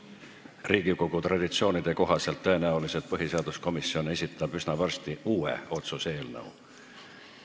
Riigikogu traditsioonide kohaselt esitab põhiseaduskomisjon tõenäoliselt üsna varsti uue otsuse eelnõu.